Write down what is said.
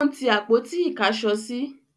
ó n tí àpótí ìkásọsí